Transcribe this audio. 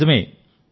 ఇది నిజమే